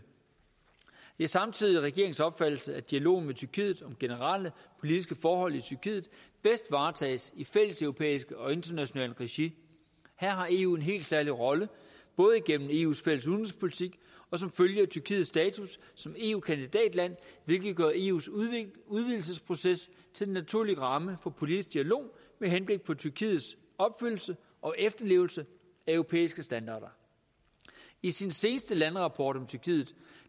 det er samtidig regeringens opfattelse at dialogen med tyrkiet om generelle politiske forhold i tyrkiet bedst varetages i fælles europæisk og internationalt regi her har eu en helt særlig rolle både igennem eus fælles udenrigspolitik og som følge af tyrkiets status som eu kandidatland hvilket gør eus udvidelsesproces til den naturlige ramme for en politisk dialog med henblik på tyrkiets opfyldelse og efterlevelse af europæiske standarder i sin seneste landerapport om tyrkiet